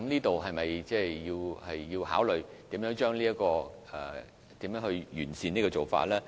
就此，是否需要考慮如何完善做法呢？